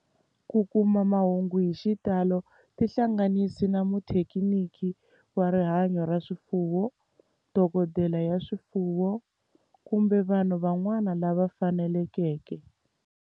Ku kuma mahungu hi xitalo tihlanganisi na muthekiniki wa rihanyo ra swifuwo, dokodela ya swifuwo, kumbe vanhu van'wana lava fanelekeke